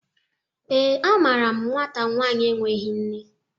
ee, amaaram nwata nwanyi enweghi nne